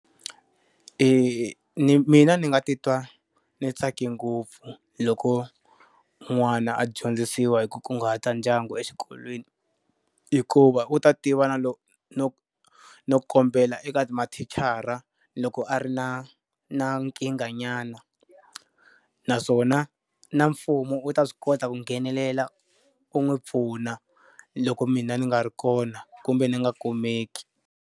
mina ndzi nga titwa ni tsake ngopfu loko n'wana a dyondzisiwa hi ku kunguhata ndyangu exikolweni, hikuva u ta tiva na loko no no kombela eka mathicara loko a ri na na nkingha nyana. Naswona na mfumo wu ta swi kota ku nghenelela u n'wi pfuna loko mina ni nga ri kona kumbe ni nga kumeki.